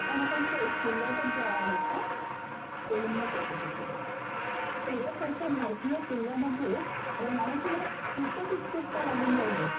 आपण आता थेट किल्ल्यातच जाणार आहोत का? कोलिनने चौकशी केली. खरोखरच्या भारतीय किल्ल्यांमध्ये राहण्याची मला खूपच उत्सुकता लागून राहिलीये.